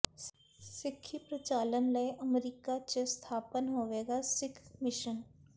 ਸਿੱਖੀ ਪ੍ਰਚਾਰ ਲਈ ਅਮਰੀਕਾ ਚ ਸਥਾਪਤ ਹੋਵੇਗਾ ਸਿੱਖ ਮਿਸ਼ਨ